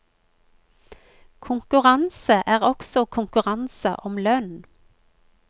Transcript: Konkurranse er også konkurranse om lønn.